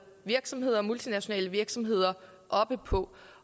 virksomheder herunder multinationale virksomheder op på